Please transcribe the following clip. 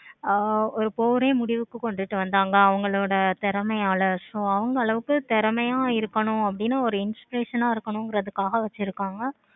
ஆஹ் ஒரு போரே முடிவுக்கு கொண்டுட்டு வந்தாங்க. அவங்களோட திறமையால so அவங்க அளவுக்கு திறமையா இருக்கணும் ஒரு inspiration ஆஹ் இருக்கணும் காக